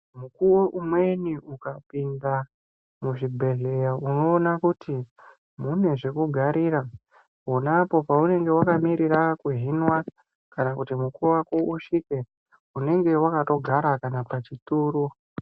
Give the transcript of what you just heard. Mukuwo umweni ukapinda muzvibhehleya unoona kuti mune zvekugarira pona apo paunenge wakamirira kuhinwa kana kuti mukuwo wako usvike, unenge wakatogara kana pachituro.